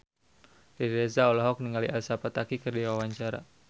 Riri Reza olohok ningali Elsa Pataky keur diwawancara